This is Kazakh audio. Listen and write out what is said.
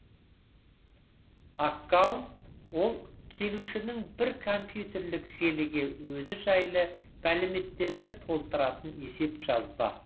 аккаунт ол келушінің бір компьютерлік желіге өзі жайлы мәліметтерді толтыратын есеп жазба